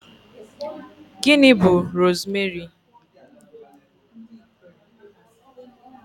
Gịnị bú rosmeri?